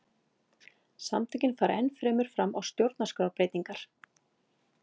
Samtökin fara enn fremur fram á stjórnarskrárbreytingar